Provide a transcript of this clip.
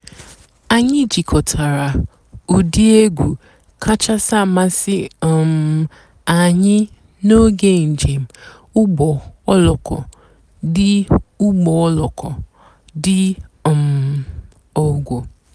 ányị́ jikòtàrà ụ́dị́ ègwú kàchàsị́ àmásị́ um ànyị́ n'óge ǹjéém ụ́gbọ́ òlóko dị́ ụ́gbọ́ òlóko dị́ um ógo.